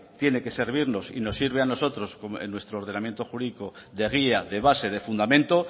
tiene que servirnos y nos sirve a nosotros en nuestro ordenamiento jurídico de guía de base de fundamento